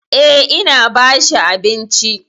Eh, ina ba shi abinci.